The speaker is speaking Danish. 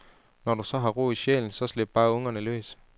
Når du så har ro i sjælen så slip bare ungerne løs.